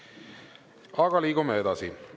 Aga liigume edasi.